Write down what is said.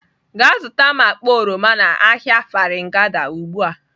Gaa zụta m akpa oroma n'ahịa Farin gada ugbu a!.